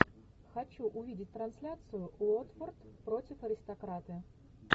хочу увидеть трансляцию уотфорд против аристократы